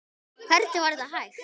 Hvernig var þetta hægt?